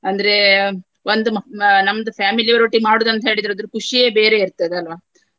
ಅಂದ್ರೆ ಒಂದು ನಮ್ದು family ಯವರೊಟ್ಟಿಗೆ ಮಾಡುವುದಂತ ಹೇಳಿದ್ರೆ ಅದ್ರ ಖುಷಿಯೇ ಬೇರೆಯೇ ಇರ್ತದೆ ಅಲ್ವಾ?